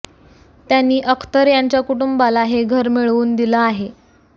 त्यांनी अख्तर यांच्या कुटुंबाला हे घर मिळवून दिलं आहे